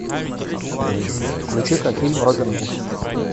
включи ка фильм робин гуд